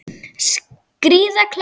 Skríða kletta.